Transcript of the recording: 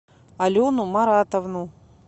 алену маратовну